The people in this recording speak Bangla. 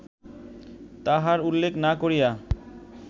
তাহার উল্লেখ না করিয়া